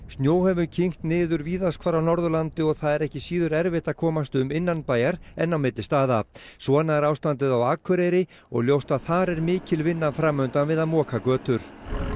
snjó hefur kyngt niður víðast hvar á Norðurlandi og það er ekki síður erfitt að komast um innanbæjar en á milli staða svona er ástandið á Akureyri og ljóst að þar er mikil vinna fram undan við að moka götur